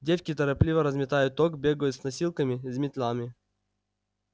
девки торопливо разметают ток бегают с носилками мётлами